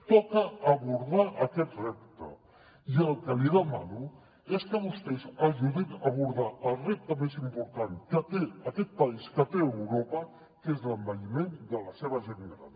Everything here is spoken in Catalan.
toca abordar aquest repte i el que li demano és que vostès ajudin a abordar el repte més important que té aquest país que té europa que és l’envelliment de la seva gent gran